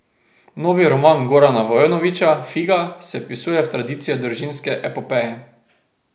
Novi roman Gorana Vojnovića, Figa, se vpisuje v tradicijo družinske epopeje.